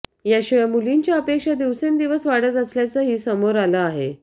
याशिवाय मुलींच्या अपेक्षा दिवसेनदिवस वाढत असल्याचंही समोर आलं आहे